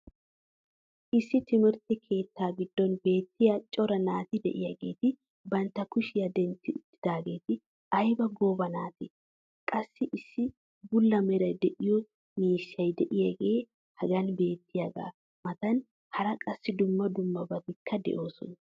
issi timirtte keettaa giddon beetiya cora naati diyaageeti bantta kushiya dentti utaageeti aybba gooba naatee! qassi issi bula meray de'iyo miishshay diyaagee hagan beetiyaagaa matan hara qassi dumma dummabatikka doosona.